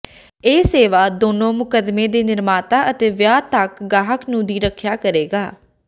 ਇਹ ਸੇਵਾ ਦੋਨੋ ਮੁਕੱਦਮੇ ਦੇ ਨਿਰਮਾਤਾ ਅਤੇ ਵਿਆਹ ਤੱਕ ਗਾਹਕ ਨੂੰ ਦੀ ਰੱਖਿਆ ਕਰੇਗਾ